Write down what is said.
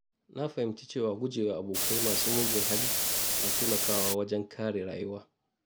Na fahimci cewa gujewa abokai masu mugun hali na taimakawa wajen kare rayuwa.